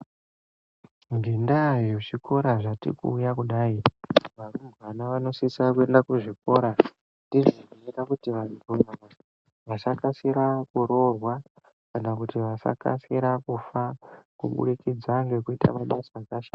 Ngendaa yezvikora zvati kuuya kudai, varumbwana vanosisa kuenda kuzvikora. Ndizvo zvinoita kuti vantu vanyamashi, vasakasira kuroorwa kana kuti vasakasira kufa, kuburikidza ngekuita mabasa akashata.